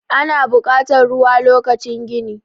ana bukatar ruwa lokacin gini